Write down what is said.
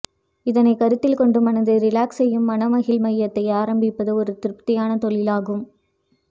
இதனைக் கருத்தில் கொண்டு மனதை ரிலாக்ஸ் செய்யும் மனமகிழ் மையத்தை ஆரம்பிப்பது ஒரு திருப்தியான தொழில் ஆகும்